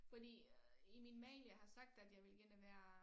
Fordi i min mail jeg har sagt at jeg vil gerne være